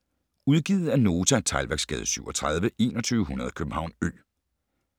Udgivet af Nota Teglværksgade 37 2100 København Ø